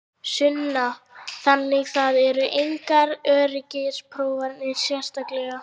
Sunna: Þannig það eru engar öryggisprófanir sérstaklegar?